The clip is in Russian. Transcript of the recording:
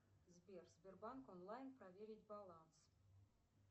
сбер сбербанк онлайн проверить баланс